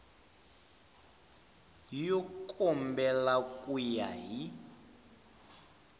yo kambela ku ya hi